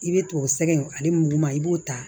I bɛ t'o sɛgɛn ale muguma i b'o ta